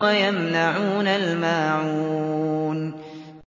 وَيَمْنَعُونَ الْمَاعُونَ